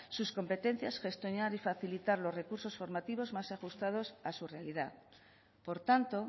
sus competencias gestionar y facilitar los recursos formativos más ajustados a su realidad por tanto